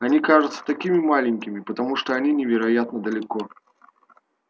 они кажутся такими маленькими потому что они невероятно далеко